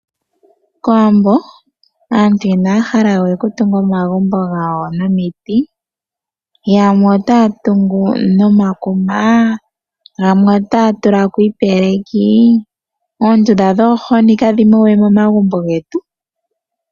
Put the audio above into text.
Kowambo aantu inaya hala we okutunga omagumbo gawo nomiti, yamwe otaya tungu nomakuma, yamwe otaya tula ko iipeleki, oondunda dhoomwidhi kadhi mo we momagumbo getu.